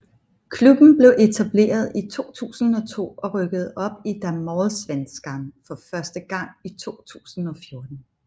Klubben blev etableret i 2002 og rykkede op i Damallsvenskan for første gang i 2014